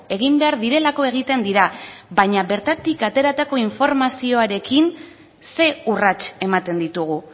egin behar direlako egiten dira baina bertatik ateratako informazioarekin ze urrats ematen ditugu